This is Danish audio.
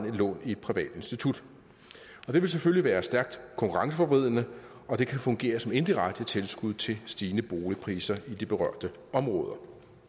et lån i et privat institut det vil selvfølgelig være stærkt konkurrenceforvridende og det kan fungere som indirekte tilskud til stigende boligpriser i de berørte områder